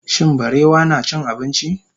shin barewa nacin abinci?